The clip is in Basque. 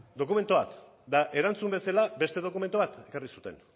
dokumentu bat eta erantzun bezala beste dokumentu bat ekarri zuten